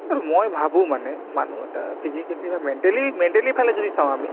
আৰু মই ভাবো মানে মানুহ এটা physically বা mentally mentally ফালে যদি চাওঁ আমি